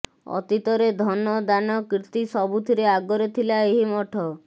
ଅତୀତରେ ଧନ ଦାନ କୀର୍ତ୍ତିସବୁଥିରେ ଆଗରେ ଥିଲା ଏହି ମଠ